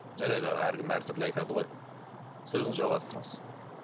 жарайды аға әркім әртүрлі айтады ғой сөзіңізді жалғастырыңыз